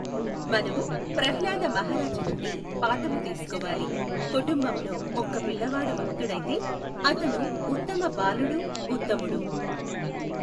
మనము ప్రహ్లాద మహారాజు నుండి పాఠము తీసుకోవాలి. కుటుంబములో ఒక్క పిల్లవాడు భక్తుడైతే అతను ఉత్తమ బాలుడు ఉత్తముడు.